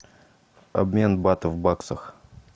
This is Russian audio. обмен батов в баксах